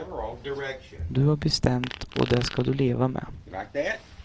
Du har bestämt och det ska du leva med.